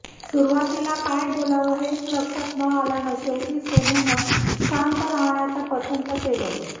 सुरुवातीला काय बोलावं हेच लक्षात न आल्यानं शेवटी सोनूनं शांत राहणंच पसंत केलं